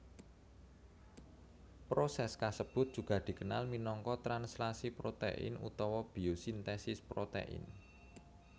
Proses kasebut juga dikenal minangka translasi protein utawa biosintesis protein